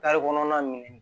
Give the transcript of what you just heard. kɔnɔna minɛn